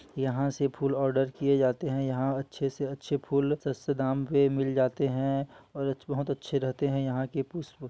यहाँ से फूल आर्डर किए जाते हैं यहाँ अच्छे से अच्छे फूल सस्ते दाम पे मिल जाते हैं और बहुत अच्छे रहते हैं यहाँ के पुष्प ।